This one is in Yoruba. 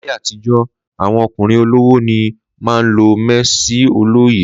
Làyé àtíjò àwón òkúnrìn òlówò ni mà ń lo mẹẹsì òlòyé